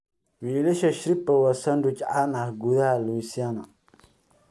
Wiilasha Shrimp po' waa sandwich caan ah gudaha Louisiana.